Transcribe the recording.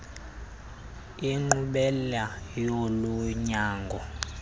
inkqubela yolu nyango